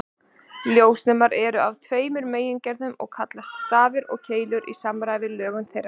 Ljósnemar eru af tveimur megingerðum sem kallast stafir og keilur í samræmi við lögun þeirra.